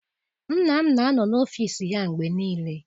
Nna m na anọ n'ọfịịsi ya mgbe niile.